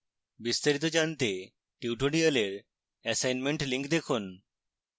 বিস্তারিত জানতে tutorial assignment link দেখুন